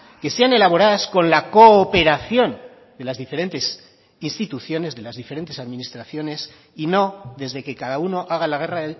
que sean elaboradas con la cooperación de las diferentes instituciones de las diferentes administraciones y no desde que cada uno haga la guerra